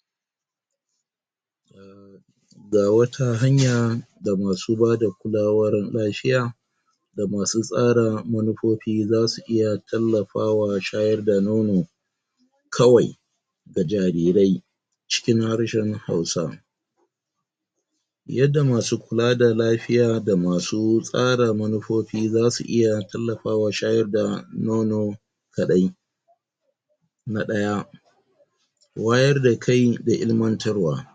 ? Ga wata hanya, da masu bada kulawar lafiya,? da masu tsara manofofi za su iya tallafawa shayar da nono,? kawai,? ga jarirai,? cikin harshan hausa. Yadda masu kula da lafiya da masu tsara manofifi za su iya tallafawa shayar da nono,? kaɗai.? Na ɗaya.? Wayar da kai da ilmantarwa.?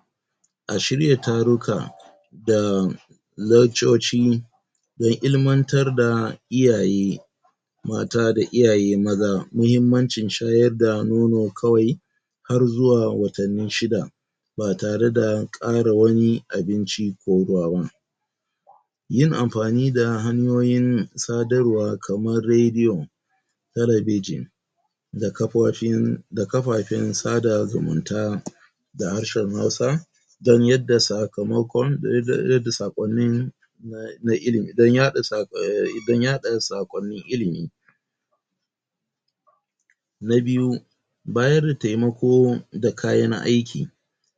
A shirya taruka,? da,? lekcoci,? don ilmantar da iyaye,? mata da iyaye maza mahimmancin shayar da nono kawai,? har zuwa watanni shida, ba tare da ƙara wani abinci ko ruwa ba.? Yin amfani da hanyoyin sadarwa kamar redi'o,? talebijin, da kafofin, da kafafen sada zumunta,? da harshan hausa, dan yadda sakamakon, yadda saƙonnin, na ilimi dan yaɗa saƙonnin ilimi.? Na biyu.? Bayar da taimalko da kayan aiki.?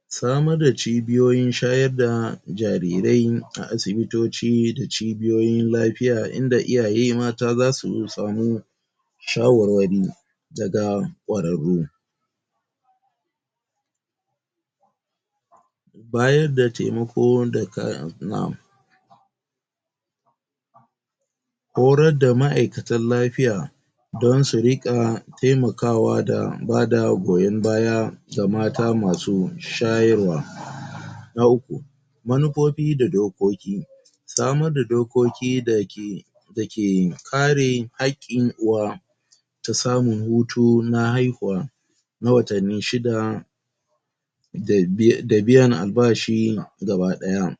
Samar da cibiyoyin shayar da jarirai, a asibitoci da cibiyoyin lafiya inda iyaye mata za su samu,? shawarwari,? daga ƙwararro. Bayar da taimako,?? Hotar da ma'aikatan lafiya,? don su riƙa, taimakawa da bada goyon baya, ga mata masu sharwa.? Na uku.? Manofofi da dokoki.? Samar da dokoki da ke, da ke kare haƙƙin uwa,? ta samun hutu na haihuwa,? na watanni shida,? da biyan da biyan albashi gaba ɗaya.?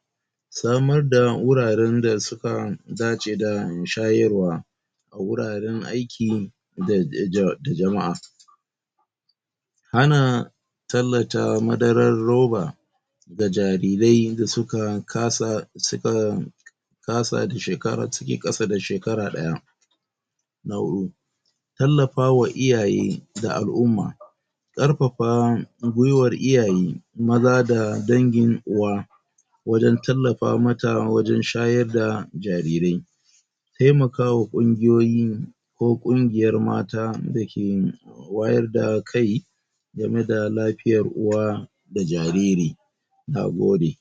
Samar da wuraren da suka dace da mai shayarwa,? a wuraren aiki,? da jama'a.? A na,? tallata madarar ruba,? ga jarirai da su ka kasa, su ka, su ka kasa, su ke ƙasa da shekara ɗaya.? Na huɗu. Tallafawa iyaye, da al'umma.? Ƙarfafa, gyuiwar iyaye, maza da dangin uwa,? wajan tallafa mata wajan shayar da jarirai.? Taimaka wa ƙungiyoyi,? ko ƙungiyar mata da ke,? wayar da kai,? game da lafiyar uwa,? da jariri.? Na gode.?